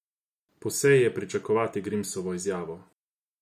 Po seji je pričakovati Grimsovo izjavo.